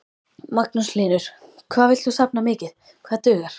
Magnús Hlynur: Hvað villt þú safna mikið, hvað dugar?